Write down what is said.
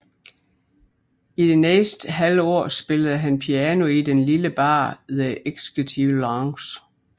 I det næste halve år spillede han piano i den lille bar The Executive Lounge